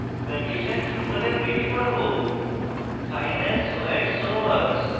condition true হলে print করব file has soandso words